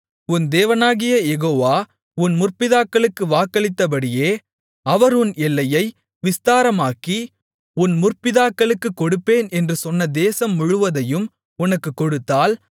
உன் தேவனாகிய யெகோவா உன் முற்பிதாக்களுக்கு வாக்களித்தபடியே அவர் உன் எல்லையை விஸ்தாரமாக்கி உன் முற்பிதாக்களுக்குக் கொடுப்பேன் என்று சொன்ன தேசம் முழுவதையும் உனக்குக் கொடுத்தால்